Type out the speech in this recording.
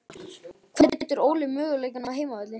Hvernig metur Óli möguleikana á heimavelli?